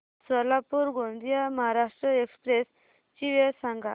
Solapur Gondia Maharashtra express ची वेळ सांगा